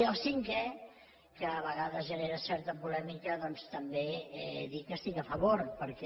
i el cinquè que a vegades genera certa polèmica doncs també dir que hi estic a favor perquè